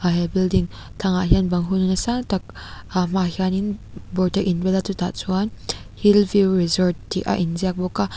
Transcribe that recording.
he building thlangah hian bang hulna sang tak a hmaah hianin board a inbela chutah chuan hill view resort tih a inziak bawka.